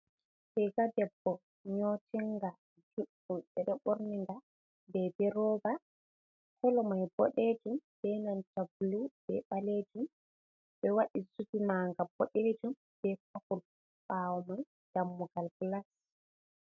Riga debbo nyotinga juɗɗum, ɓe ɗo ɓorni nga beebi rooba. Kolo mai boɗejum be nanta bulu be ɓalejum, ɓe waɗi zubi manga boɗejum be popul ɓaawo mai dammugal gilas.